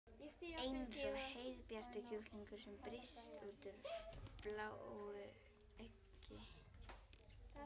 Eins og heiðbjartur kjúklingur sem brýst úr bláu eggi.